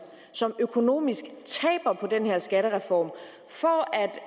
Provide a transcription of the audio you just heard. som økonomisk taber på den her skattereform for